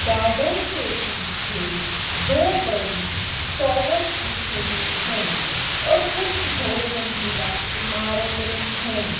Garden के पीछे दो बड़ी टॉवर्स दिख रही है और कुछ बहुमंजिला इमारतें है।